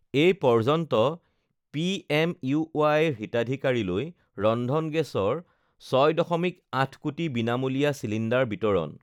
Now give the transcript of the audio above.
এই পৰ্যন্ত পিএমইউৱাই ৰ হিতাধিকাৰীলৈ ৰন্ধন গেছৰ ৬.৮কোটি বিনামূলীয়া চিলিণ্ডাৰ বিতৰণ